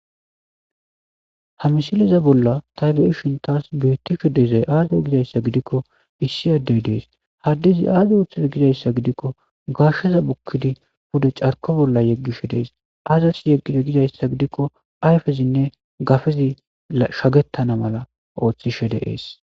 ha misiliza bolla taybe7ishin taas beettisho dezay aaze gizayssa gidikko issi addey dees haddizi aaze ooththuza gizayssa gidikko gasheza bukkidi bude carko bolla yeggishe dees aazasi yeggishe gizayssa gidikko ayfezinne gafezi shagettana mala ooththishe deees